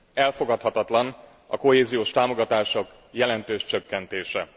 Elfogadhatatlan a kohéziós támogatások jelentős csökkentése.